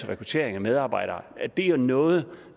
rekruttering af medarbejdere det er jo noget